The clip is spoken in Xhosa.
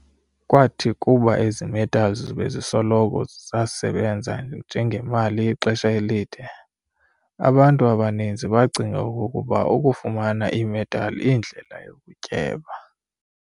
Kwathi kuba ezi-metals bezisoloko zesebanza njengemali ixesha elide, abantu abaninzi baacinga okokuba ukufumana i-metal iindlela yokutyeba.